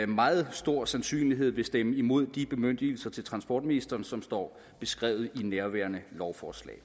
meget stor sandsynlighed vil stemme imod de bemyndigelser til transportministeren som står beskrevet i nærværende lovforslag